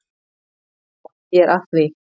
Já, ég er að því.